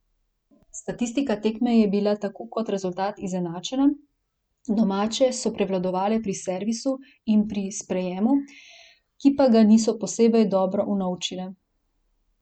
Statistika tekme je bila tako kot rezultat izenačena, domače so prevladovale pri servisu in pri sprejemu, ki pa ga niso posebej dobro unovčile.